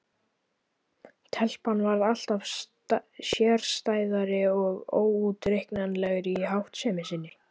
Telpan varð alltaf sérstæðari og óútreiknanlegri í háttsemi sinni.